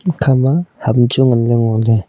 ekha ma ham chu ngan le ngo le.